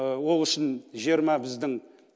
ол үшін жиырма біздің